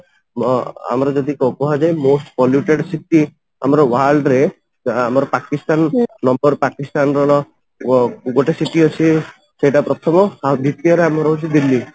ଆମର ଯଦି କୁହାଯାଏ polluted ସିଟି ଆମର world ରେ ଆମର ପାକିସ୍ତାନ ନମ୍ବର ପାକିସ୍ତାନ ର ଗୋଟେ city ଅଛି ସେଇଟା ପ୍ରଥମ ଆଉ ଦ୍ଵିତୀୟରେ ଆମର ହେଉଛି ଦିଲ୍ଲୀ